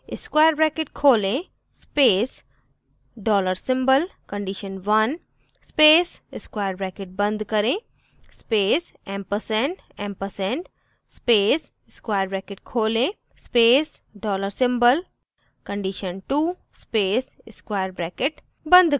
* square bracket खोलें space dollar symbol condition1 space square bracket बंद करें space ampersand ampersand space square bracket खोलें space dollar symbol condition2 space square bracket बंद करें